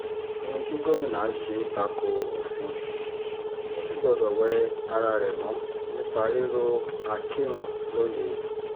ohun tí gómìnà ṣe ta ko òfin ò sì gbọdọ̀ wẹ ara rẹ̀ mọ́ nípa rírọ akinrun lóye